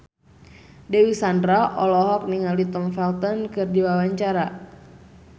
Dewi Sandra olohok ningali Tom Felton keur diwawancara